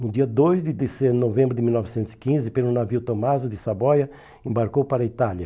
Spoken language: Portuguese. No dia dois de dezem novembro de mil novecentos e quinze, pelo navio Tommaso de Saboia, embarcou para a Itália.